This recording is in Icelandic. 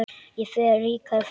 Ég fer ríkari frá þeim.